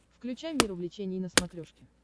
включай мир увлечений на смотрешке